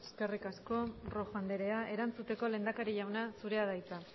eskerrik asko rojo andrea erantzuteko lehendakari jauna zurea da hitza